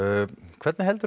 hvernig heldur